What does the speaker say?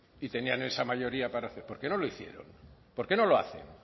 y tenían esa mayoría para hacer por qué no lo hicieron por qué no lo hacen